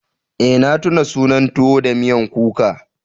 Eh na tuna sunan tuwo da miyan kuka.